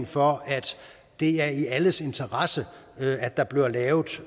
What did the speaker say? for at det er i alles interesse at der bliver lavet